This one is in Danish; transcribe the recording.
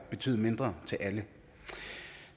betyde mindre til alle